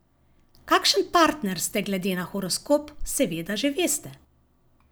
Kakšen partner ste glede na horoskop, seveda že veste.